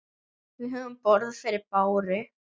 Við höfum borð fyrir báru.